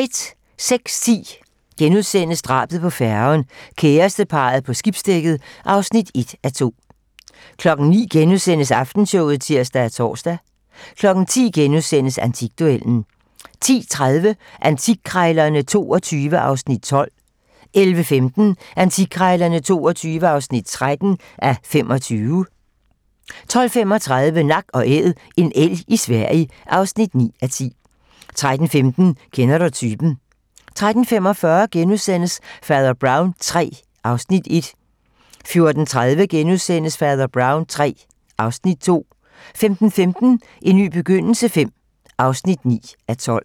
06:10: Drabet på færgen - kæresteparret på skibsdækket (1:2)* 09:00: Aftenshowet *(tir og tor) 10:00: Antikduellen * 10:30: Antikkrejlerne XXII (12:25) 11:15: Antikkrejlerne XXII (13:25) 12:35: Nak & Æd - en elg i Sverige (9:10) 13:15: Kender du typen? 13:45: Fader Brown III (Afs. 1)* 14:30: Fader Brown III (Afs. 2)* 15:15: En ny begyndelse V (9:12)